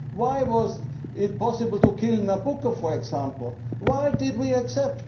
Why was it possible to kill Nabucco, for example why did we accept?